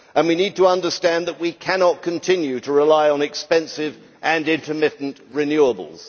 We need to understand that we cannot continue to rely on expensive and intermittent renewables.